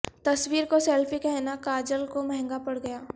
تصویر کو سیلفی کہنا کاجول کو مہنگا پڑ گیا